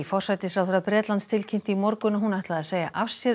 forsætisráðherra Bretlands tilkynnti í morgun að hún ætlaði að segja af sér